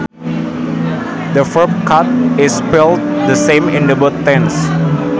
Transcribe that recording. The verb cut is spelled the same in both tenses